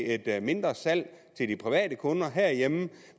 et mindre salg til de private kunder herhjemme